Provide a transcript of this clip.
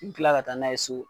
kila ka taa n'a ye so.